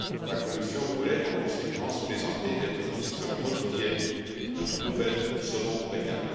La Commission pourrait, en conséquence, présenter des propositions modifiées ou nouvelles selon le cas.